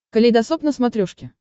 калейдосоп на смотрешке